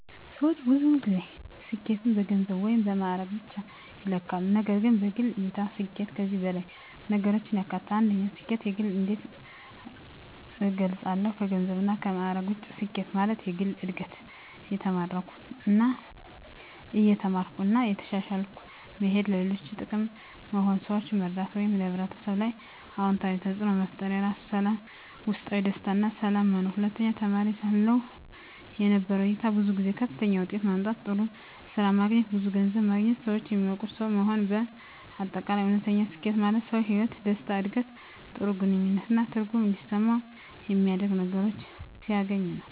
ሰዎች ብዙ ጊዜ ስኬትን በገንዘብ ወይም በማዕረግ ብቻ ይለካሉ፣ ነገር ግን በግል እይታ ስኬት ከዚህ በላይ ነገሮችን ያካትታል። 1. ስኬትን በግል እንዴት እገልጻለሁ ከገንዘብና ከማዕረግ ውጭ ስኬት ማለት፦ የግል እድገት – እየተማርኩ እና እየተሻሻልኩ መሄድ ለሌሎች ጥቅም መሆን – ሰዎችን መርዳት ወይም በሕብረተሰብ ላይ አዎንታዊ ተፅዕኖ መፍጠር የራስ ሰላም – ውስጣዊ ደስታ እና ሰላም መኖር 2. ተማሪ ሳለሁ የነበረው እይታ ብዙ ጊዜ ከፍተኛ ውጤት ማምጣት፣ ጥሩ ስራ ማግኘት፣ ብዙ ገንዘብ ማግኘት ሰዎች የሚያውቁት ሰው መሆን በ አጠቃላይ: እውነተኛ ስኬት ማለት ሰው በሕይወቱ ደስታ፣ ዕድገት፣ ጥሩ ግንኙነት እና ትርጉም እንዲሰማው የሚያደርጉ ነገሮችን ሲያገኝ ነው።